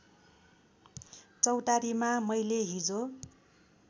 चौतारीमा मैले हिजो